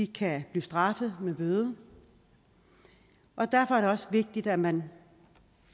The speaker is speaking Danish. kan blive straffet med bøde og derfor er det også vigtigt at man